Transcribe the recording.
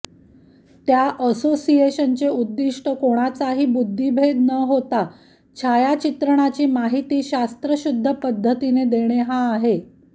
त्या असोसिएशनचे उद्दिष्ट कोणाचाही बुद्धिभेद न होता छायाचित्रणाची माहिती शास्त्रशुद्ध पद्धतीने देणे हा आहे